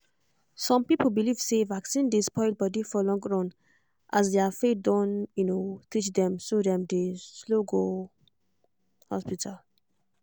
some people believe say vaccine dey spoil body for long run as their faith don teach dem so dem dey slow to go hospital